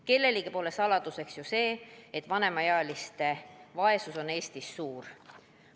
Kellelegi pole saladuseks ju see, et vanemaealiste vaesus on Eestis suur.